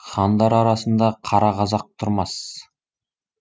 хандар арасында қара қазақ тұрмас